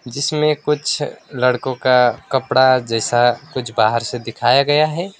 जिसमें कुछ लड़कों का कपड़ा जैसा कुछ बाहर से दिखाया गया है।